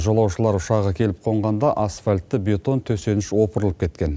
жолаушылар ұшағы келіп қонғанда асфальтты бетон төсеніш опырылып кеткен